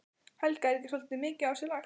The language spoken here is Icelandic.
Helga: Er ekki svolítið mikið á sig lagt?